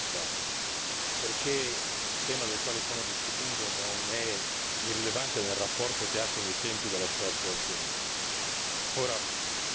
Adesso si tratta di fare in fretta, perché il tema del quale stiamo discutendo non è irrilevante nel rapporto che ha con i tempi della sua attuazione.